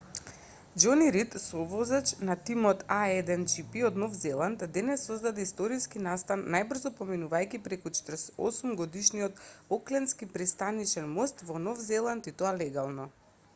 џони рид совозач на тимот на а1гп од нов зеланд денес создаде историски настан најбрзо поминувајќи преку 48-годишниот оклендски пристанишен мост во нов зеланд и тоа легално